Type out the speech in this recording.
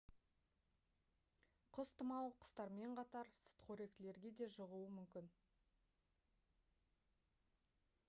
құс тұмауы құстармен қатар сүтқоректілерге де жұғуы мүмкін